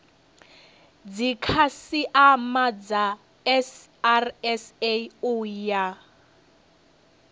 dzikhasiama dza srsa u ya